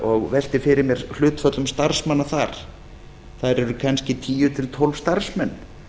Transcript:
og velti fyrir mér hlutföllum starfsmanna þar þar eru kannski tíu til tólf starfsmenn